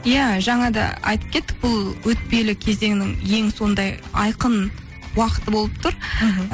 иә жаңа да айтып кеттік бұл өтпелі кезеңнің ең сондай айқын уақыты болып тұр мхм